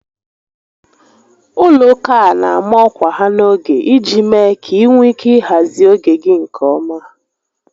Ụlọ ụka a na ama ọkwa ha n'oge iji mee ka ị nwee ike ị hazị oge gị nke ọma